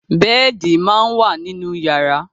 Bẹ́ẹ̀di máa ń wà nínú yàrá.